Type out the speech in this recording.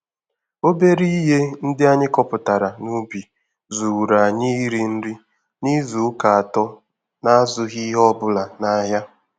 Obere ihe ndị anyị kọpụtara n'ubi zuuru anyị iri nri n'izu ụka atọ n'azụghị ihe ọbụla nahịa